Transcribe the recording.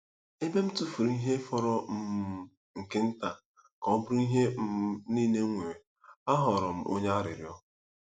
Ebe m tụfuru ihe fọrọ um nke nta ka ọ bụrụ ihe um niile m nwere, aghọrọ m onye arịrịọ.